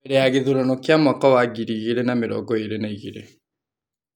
mbere ya gĩthurano kĩa mwaka wa ngiri igĩrĩ na mĩrongo ĩrĩ na igĩrĩ .